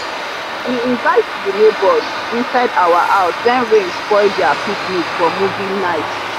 we invite the neighbors inside our house when rain spoil their picnic for movie night.